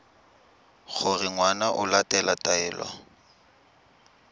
gore ngwana o latela taelo